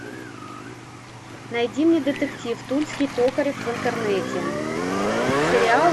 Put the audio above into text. найди мне детектив тульский токарев в интернете сериал